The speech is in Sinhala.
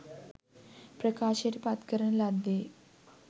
ප්‍රකාශයට පත් කරන ලද්දේ